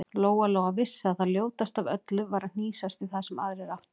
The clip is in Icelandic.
Lóa-Lóa vissi að það ljótasta af öllu var að hnýsast í það sem aðrir áttu.